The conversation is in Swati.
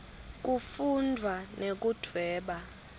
kufundvwa nekudvweba